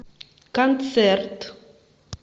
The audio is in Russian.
концерт